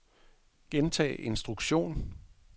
gentag instruktion